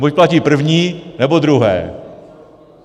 Buď platí první, nebo druhé.